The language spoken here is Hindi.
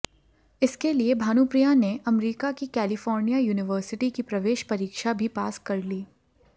इसके लिए भानुप्रिया ने अमरिका की कैलिफोर्निया यूनिवर्सिटी की प्रवेश परीक्षा भी पास कर ली